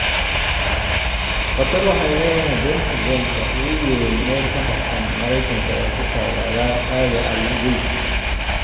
Qatar waxay leedahay Pentagon-ka ugu weyn meel ka baxsan Mareykanka oo ku taal aagga Al-Udaid.